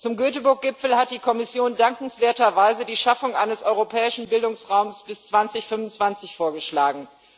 Zum Göteborg Gipfel hat die Kommission dankenswerterweise die Schaffung eines Europäischen Bildungsraums bis 2025 vorgeschlagen.